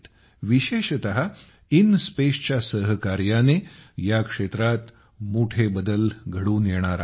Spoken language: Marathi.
विशेषतः इनस्पेसच्या सहकार्याने या क्षेत्रात मोठे बदल घडून येणार आहेत